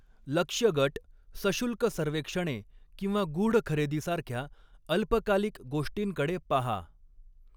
लक्ष्य गट, सशुल्क सर्वेक्षणे किंवा गूढ खरेदीसारख्या अल्पकालीक गोष्टींकडे पाहा.